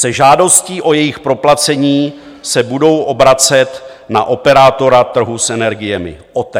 Se žádostí o jejich proplacení se budou obracet na operátora trhu s energiemi, OTE.